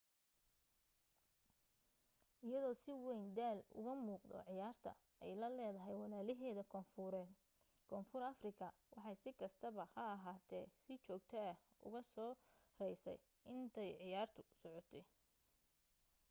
iyadoo si wayn daal uga muuqdo ciyaarta ay la leedahay walaalaheeda koonfureed koonfur afrika waxay si kastaba ha ahaatee si joogto ah uga soo raysay intay ciyaartu socotay